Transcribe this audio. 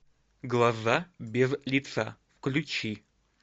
глаза без лица включи